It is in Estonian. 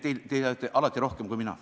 Te teate alati rohkem kui mina.